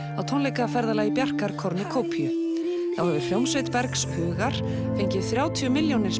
á tónleikaferðalagi Bjarkar Cornucopiu þá hefur hljómsveit Bergs hugar fengið þrjátíu milljónir